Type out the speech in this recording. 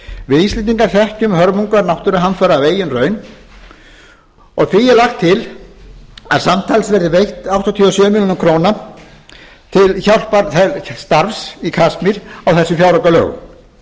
við íslendingar þekkjum hörmungar náttúruhamfara af eigin raun því er lagt til að samtals áttatíu og sjö milljónir króna verði veittar til hjálparstarfsins í kasmír á